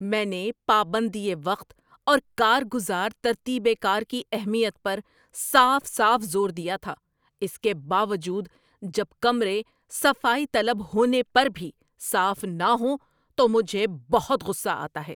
میں نے پابندیِ وقت اور کار گزار ترتیبِ کار کی اہمیت پر صاف صاف زور دیا تھا۔ اس کے باوجود، جب کمرے صفائی طلب ہونے پر بھی صاف نہ ہوں تو مجھے بہت غصہ آتا ہے۔